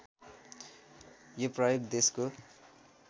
यो प्रयोग देशको